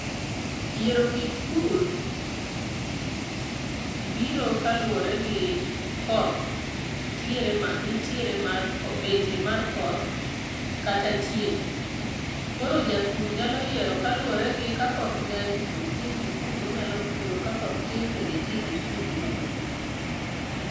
Yiero kit pur, biro kaluore gi koth, tiere mar, nitiere mar betie mar koth kata chieng'.Koro japur nyalo yiero kaluore gi ka koth ng'eny to nitie kit pur ma onyalo puro, ka koth tin bende nitie kit pur ma onyalo puro.